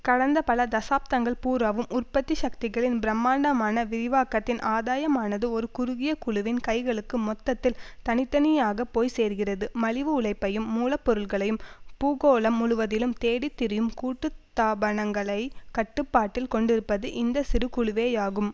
கடந்த பல தசாப்தங்கள் பூராவும் உற்பத்தி சக்திகளின் பிரமாண்டமான விரிவாக்கத்தின் ஆதாயமானது ஒரு குறுகிய குழுவின் கைகளுக்கு மொத்தத்தில் தனி தனியாக போய் சேர்கிறது மலிவு உழைப்பையும் மூல பொருட்களையும் பூகோளம் முழுவதிலும் தேடித்திரியும் கூட்டுத்தாபனங்களைக் கட்டுப்பாட்டில் கொண்டிருப்பது இந்த சிறு குழுவேயாகும்